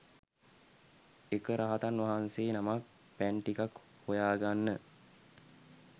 එක රහතන් වහන්සේ නමක් පැන් ටිකක් හොයාගන්න